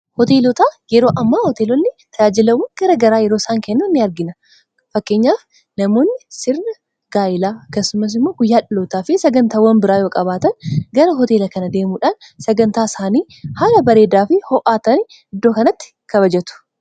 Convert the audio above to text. Hoteelotaa. Yeroo ammaa hoteelonni tajaajilawwan garaa garaa yeroo isaan kennaan ni argina. Fakkeenyaaf namoonni sirnaa gaa'ilaa akkasumas immoo guyyaa dhalootaa fi sagantawwan biraa yoo qabaatan gara hoteela kana deemuudhaan sagantaa isaanii haala bareedaa fi ho'aa ta'een iddoo kanatti kabajaatu.